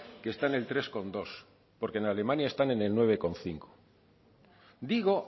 que está en el tres coma dos porque en alemania están en el nueve coma cinco digo